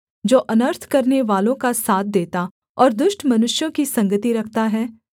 जो अनर्थ करनेवालों का साथ देता और दुष्ट मनुष्यों की संगति रखता है